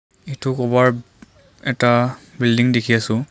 এইটো ক'ৰবাৰ এটা বিল্ডিং দেখি আছোঁ।